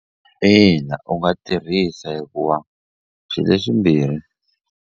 Ina u nga tirhisa hikuva swi leswimbirhi.